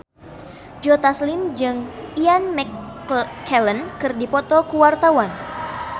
Joe Taslim jeung Ian McKellen keur dipoto ku wartawan